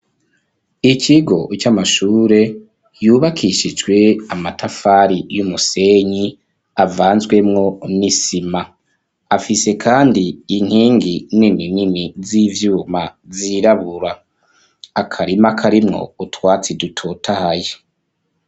Ikigo, c'amashure, yubakishijwe amatafari, y'umusenyi, avanzwemwo n'isima; afise kandi, inkingi nini nini, z'ivyuma, zirabura; akarima, karimwo utwatsi, dutotahaye.